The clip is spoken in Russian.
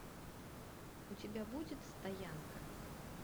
у тебя будет стоянка